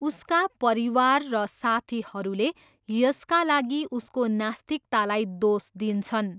उसका परिवार र साथीहरूले यसका लागि उसको नास्तिकतालाई दोष दिन्छन्।